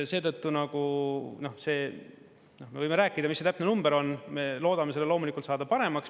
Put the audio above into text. Seetõttu me võime rääkida, mis see täpne number on, me loodame selle loomulikult saada paremaks.